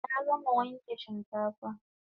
Na gama wanke shinkafa